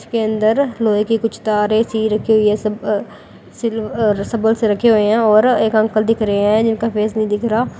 इसके अंदर लोहे की कुछ तार है। ऐसे ही रखी हुई है। सब अ सिल्वर रखे हुए है और एक अंकल दिख रहे है जिनका फेस नहीं दिख रहा।